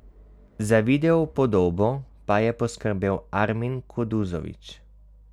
Za videopodobo pa je poskrbel Armin Kuduzović.